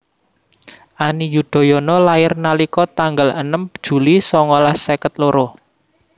Ani Yudhoyono lahir nalika tanggal enem Juli songolas seket loro